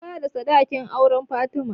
An bada sadakin auren fatima